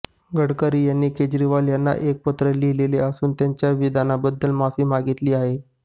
गडकरी यांना केजरीवाल यांनी एक पत्र लिहिले असून त्यांच्या विधानाबद्दल माफी मागितली आहे